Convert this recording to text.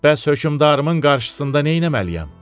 Bəs hökmdarımın qarşısında nə eləməliyəm?